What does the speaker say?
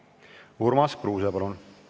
Urmas Kruuse, palun!